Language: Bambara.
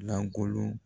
Lankolon